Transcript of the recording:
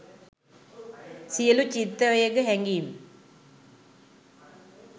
සියළු චිත්තාවේග හැඟීම්